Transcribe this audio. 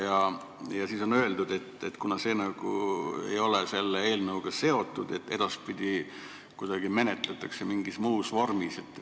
Ja edasi on öeldud, et kuna see ei ole selle eelnõuga seotud, siis edaspidi tegeldakse sellega mingil muul moel.